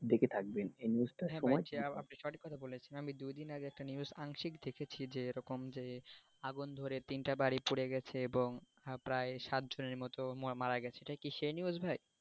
হ্যাঁ দেখেছি আপনি সঠিক কথা বলছেন আমি দুই দিন আগে একটা news আংশিক দেখেছি যে এরকম যে আগুন ধরে তিনটা বাড়ি পুড়ে গেছে এবং প্রায় সাতজনের মতো মারা গেছে এটা কি সে news ভাই?